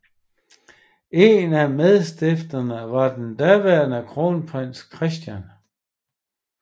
En af medstifterne var den daværende Kronprins Christian